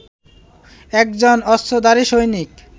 একজন অস্ত্রধারী সৈনিক